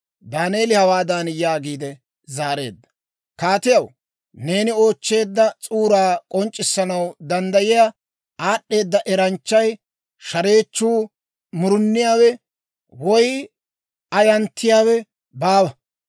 Daaneeli hawaadan yaagiide zaareedda; «Kaatiyaw, neeni oochcheedda s'uuraa k'onc'c'issanaw danddayiyaa aad'd'eeda eranchchay, shareechchuu, muruniyaawe, woy ayanttiyawe baawa.